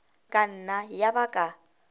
ka nna ya ba ka